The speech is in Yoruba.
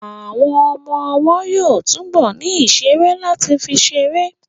Àwọn ọmọ ọwọ́ yóò túbọ̀ ní ìṣeré láti fi ṣeré